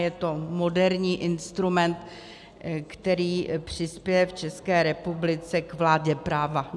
Je to moderní instrument, který přispěje v České republice k vládě práva.